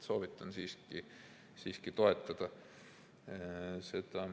Soovitan siiski seda toetada.